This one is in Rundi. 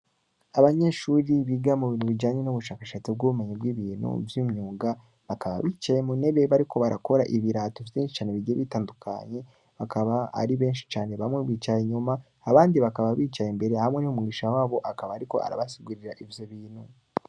Abanyeshuri biga mu bintu bijanye n’ubushakashatsi bw’ubumenyi bw’ibintu vy’imyuga, bakaba bicaye mu ntebe ,bariko barakora ibirato vyinshi cane bigiye bitandukanye, bakaba ari benshi cane, bamwe bicaye inyuma, abandi bakaba bicaye imbere, hamwe n’umwigisha wabo, akaba ariko arabasigurira ivyo bintu.